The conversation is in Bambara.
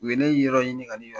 U ye ne yɔrɔ ɲini ka ne